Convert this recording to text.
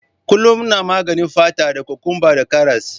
Kullum ina maganin fata ta da cucumber da karas.